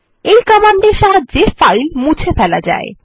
এই কমান্ডের সাহায্যে ফাইল মুছে ফেলা যায়